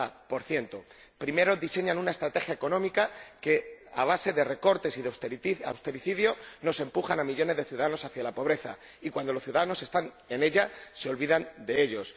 40 Primero, diseñan una estrategia económica que, a base de recortes y de austericidio, empuja a millones de ciudadanos hacia la pobreza y, cuando los ciudadanos están en ella, se olvidan de ellos.